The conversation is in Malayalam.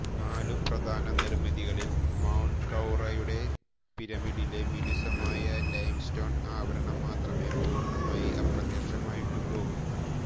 നാലു പ്രധാന നിർമിതികളിൽ മെൻകൌറെയുടെ പിരമിഡിലെ മിനുസമായ ലൈംസ്റ്റോൺ ആവരണം മാത്രമേ പൂർണ്ണമായി അപ്രത്യക്ഷമായിട്ടുള്ളൂ